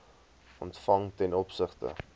ontvang ten opsigte